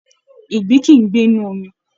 Ìgbín kìí ń gbé inú omi